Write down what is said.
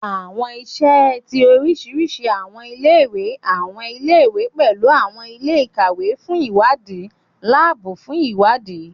Awọn iṣẹ ti orisirisi awọn ile-iwe awọn ile-iwe pẹlu awọn ile-ikawe fun iwadi, labs fun iwadi